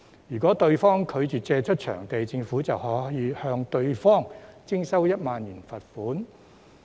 如果對方拒絕借出場地，政府便可向對方徵收1萬元罰款。